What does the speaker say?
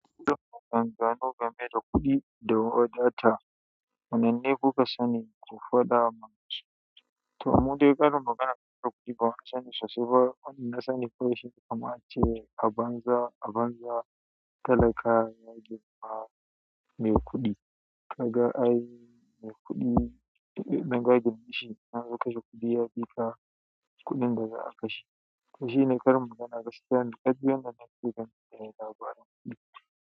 Kullum akwai an gano game da kuɗi da waya data. Wanne ne kuka sani! Ko faɗa mu su. To, mun dai karin magana game da kuɗi ba mu sani sashe ba. Na sani fa shi kamar ce a banza, a banza talaka ya girma mai kuɗi. Ka ga ai mai kuɗi ɗin da ya gani shi nan da kashi kuɗi ya ɗefa kuɗin da za a kashi. Shine karin magana gaskiya na tsatse ba tare da ba.